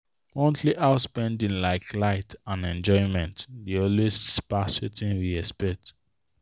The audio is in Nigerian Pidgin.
monthly house spending like light and enjoyment dey always pass wetin we expect.